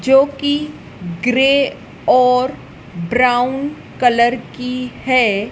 जो की ग्रे और ब्राउन कलर की हैं।